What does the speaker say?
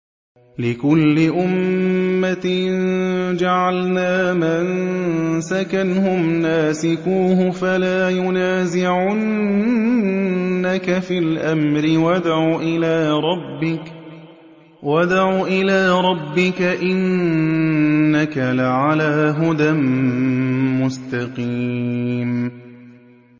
لِّكُلِّ أُمَّةٍ جَعَلْنَا مَنسَكًا هُمْ نَاسِكُوهُ ۖ فَلَا يُنَازِعُنَّكَ فِي الْأَمْرِ ۚ وَادْعُ إِلَىٰ رَبِّكَ ۖ إِنَّكَ لَعَلَىٰ هُدًى مُّسْتَقِيمٍ